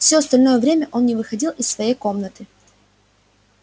всё остальное время он не выходил из своей комнаты